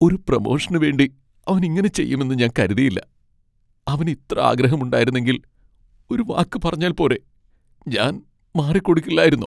ഒരു പ്രൊമോഷന് വേണ്ടി അവൻ ഇങ്ങനെ ചെയ്യുമെന്ന് ഞാൻ കരുതിയില്ല, അവന് ഇത്ര ആഗ്രഹുമുണ്ടായിരുന്നെങ്കിൽ ഒരു വാക്ക് പറഞ്ഞാൽ പോരെ, ഞാൻ മാറിക്കൊടുക്കില്ലായിരുന്നോ?